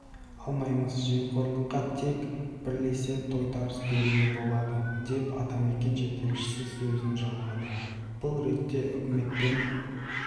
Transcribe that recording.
алмаймыз жемқорлыққа тек бірлесе тойтарыс беруге болады деп атамекен жетекшісі сөзін жалғады бұл ретте үкіметпен